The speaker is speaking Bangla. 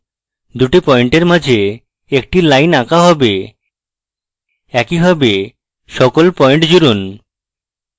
দুটি পয়েন্টের মাঝে একটি line আঁকা হবে একইভাবে সকল পয়েন্ট জুড়ুন